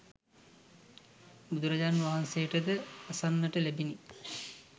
බුදුරජාණන් වහන්සේට ද අසන්නට ලැබුණි.